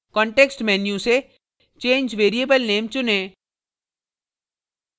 context menu से change variable name चुनें